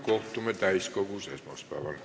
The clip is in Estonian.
Kohtume täiskogus esmaspäeval.